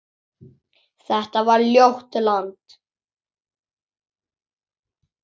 Þetta var ljótt land.